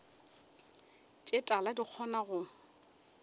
tše tala di kgona go